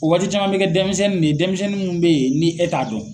O waati caman bɛ kɛ denmisɛnnin de denmisɛnnin mun bɛ ye ni e t'a dɔn.